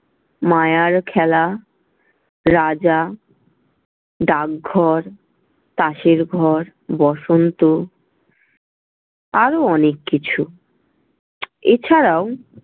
মায়ার খেলা, রাজা, ডাকঘর, তাসের ঘর, বসন্ত আরো অনেক কিছু, এছাড়াও।